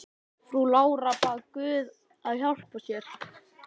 Frú Lára bað guð að hjálpa sér.